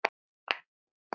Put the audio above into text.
Þær stöllur kíma við.